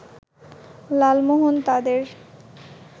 লালমোহন তাদের